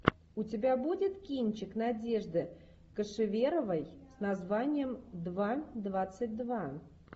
у тебя будет кинчик надежды кошеверовой с названием два двадцать два